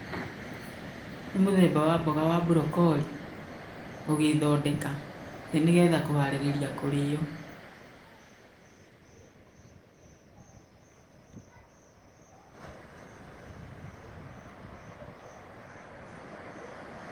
Nĩ mũthemba wa mboga wa brocolli ũgĩthondeka nĩgetha kũharĩria kũrĩo.